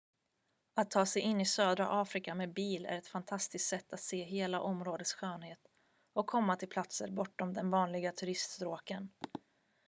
att ta sig in i södra afrika med bil är ett fantastiskt sätt att se hela områdets skönhet och komma till platser bortom de vanliga turiststråken